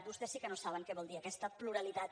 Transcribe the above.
vostès si que no saben què vol dir aquesta pluralitat